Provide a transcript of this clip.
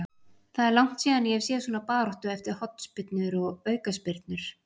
Það er langt síðan ég hef séð svona baráttu eftir hornspyrnur og aukaspyrnur.